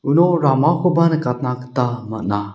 uno ramakoba nikatna gita man·a.